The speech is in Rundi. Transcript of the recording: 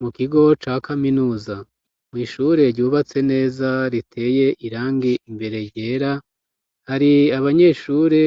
Mu kigo ca kaminuza, mw'ishure ryubatse neza riteye irangi imbere ryera, hari abanyeshure